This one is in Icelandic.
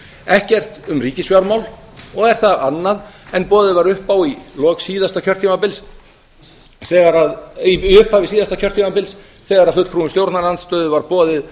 ekkert um ríkisfjármál og er það annað en boðið var upp á í upphafi síðasta kjörtímabils þegar fulltrúum stjórnarandstöðu var boðið